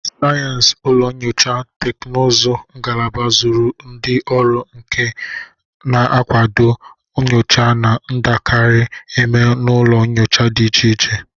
Sayensị ụlọ nyocha teknụzụ ngalaba zụrụ ndị ọrụ nka na-akwado nnyocha na-adakarị eme n'ụlọ nyocha dị iche iche.